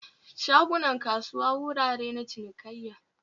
shagunan kasuwa wurare na cinikayya